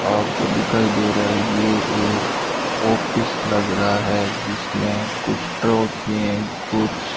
आपको दिखाई दे रहा है ये एक ऑफिस लग रहा है जिसमें कुछ ट्रॉफी कुछ --